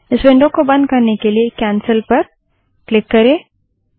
इस विंडो को बंद करने के लिए कैन्सल पर क्लिक करें